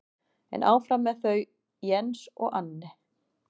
En áfram með þau Jens og Anne.